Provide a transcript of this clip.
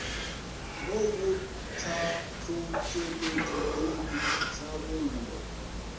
mo go tlhahlotšweledi le boitlhabollo